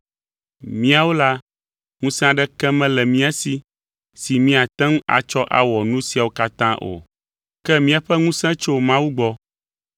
Míawo la, ŋusẽ aɖeke mele mía si si míate ŋu atsɔ awɔ nu siawo katã o, ke míaƒe ŋusẽ tso Mawu gbɔ.